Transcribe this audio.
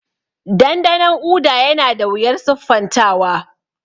Dandanon Uda yana da wuyar siffantawa.